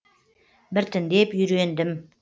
біртіндеп үйрендім